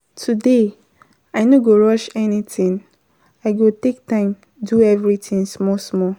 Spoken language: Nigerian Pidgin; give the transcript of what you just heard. Today, I no go rush anytin, I go take time do everytin small-small.